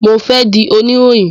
Mo fẹ di oniroyin.